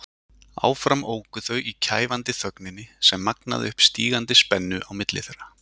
Áfram óku þau í kæfandi þögninni sem magnaði upp stígandi spennu á milli þeirra.